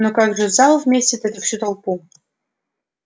но как же зал вместит всю эту толпу